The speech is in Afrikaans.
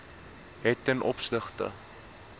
het ten opsigte